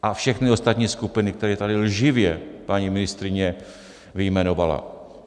A všechny ostatní skupiny, které tady lživě paní ministryně vyjmenovala.